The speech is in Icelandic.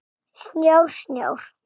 Snjór, snjór.